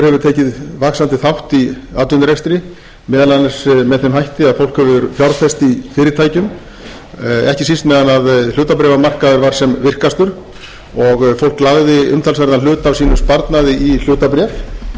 tekið vaxandi þátt í atvinnurekstri meðal annars með þeim hætti að fólk hefur fjárfest í fyrirtækjum ekki síst meðan að hlutabréfamarkaður var sem virkastur og fólk lagði umtalsverðan hluta af sínum sparnaði í hlutabréf oft með góðri ávöxtun og auðvitað var það mjög